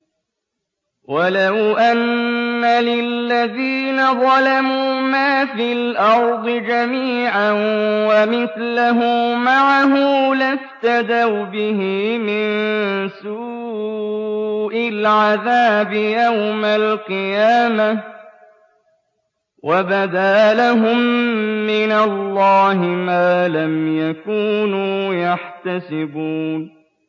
وَلَوْ أَنَّ لِلَّذِينَ ظَلَمُوا مَا فِي الْأَرْضِ جَمِيعًا وَمِثْلَهُ مَعَهُ لَافْتَدَوْا بِهِ مِن سُوءِ الْعَذَابِ يَوْمَ الْقِيَامَةِ ۚ وَبَدَا لَهُم مِّنَ اللَّهِ مَا لَمْ يَكُونُوا يَحْتَسِبُونَ